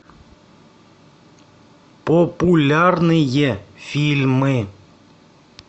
популярные фильмы